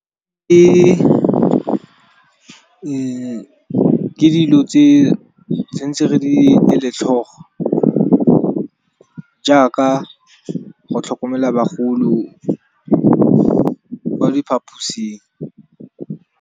Ke dilo tse tshwantse re di ele tlholo jaaka go tlhokomela bagolo ko diphaposing.